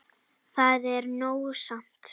Það er nóg samt.